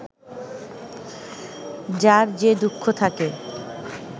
যার যে দুঃখ থাকে